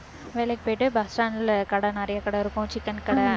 வேலைக்கு போயிட்டு bus stand ல கடை நிறைய கடை இருக்கும் chicken கடை